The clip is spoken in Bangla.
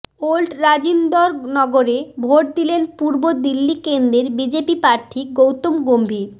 ওল্ড রাজিন্দর নগরে ভোট দিলেন পূর্ব দিল্লি কেন্দ্রের বিজেপি প্রার্থী গৌতম গম্ভীর